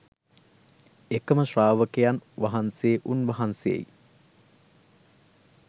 එකම ශ්‍රාවකයන් වහන්සේ උන්වහන්සේයි.